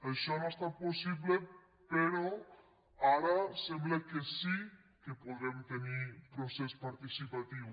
això no ha estat possible però ara sembla que sí que podrem tenir procés participatiu